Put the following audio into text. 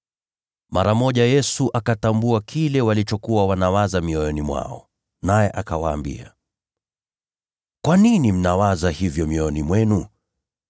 Mara moja Yesu akatambua rohoni mwake kile walichokuwa wanawaza mioyoni mwao, naye akawaambia, “Kwa nini mnawaza hivyo mioyoni mwenu?